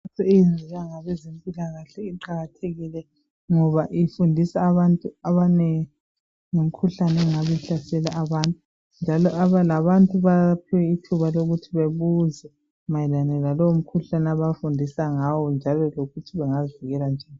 Imikhankaso eyenziwa ngabezempilakahle iqakathekile ngoba ifundisa abantu abanengi ngemikhuhlane engabe ihlasela abantu njalo labantu bayaphiwa ithuba lokuthi bebuze mayelana lalowo mkhuhlane abafundisa ngawo njalo lokuthi bengazivikela njani .